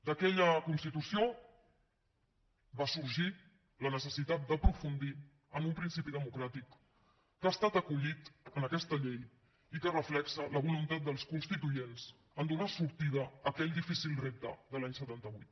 d’aquella constitució va sorgir la necessitat d’aprofundir en un principi democràtic que ha estat acollit en aquesta llei i que reflecteix la voluntat dels constituents a donar sortida a aquell difícil repte de l’any setanta vuit